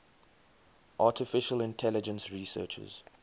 artificial intelligence researchers